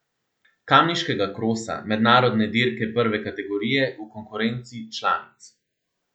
Kamniškega krosa, mednarodne dirke prve kategorije, v konkurenci članic.